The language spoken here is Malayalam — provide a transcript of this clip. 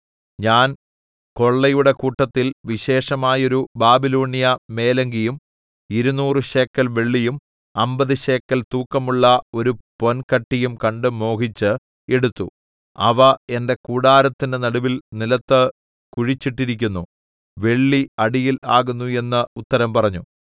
ഞാൻ കൊള്ളയുടെ കൂട്ടത്തിൽ വിശേഷമായോരു ബാബിലോണ്യ മേലങ്കിയും ഇരുനൂറ് ശേക്കെൽ വെള്ളിയും അമ്പത് ശേക്കെൽ തൂക്കമുള്ള ഒരു പൊൻകട്ടിയും കണ്ട് മോഹിച്ച് എടുത്തു അവ എന്റെ കൂടാരത്തിന്റെ നടുവിൽ നിലത്ത് കുഴിച്ചിട്ടിരിക്കുന്നു വെള്ളി അടിയിൽ ആകുന്നു എന്ന് ഉത്തരം പറഞ്ഞു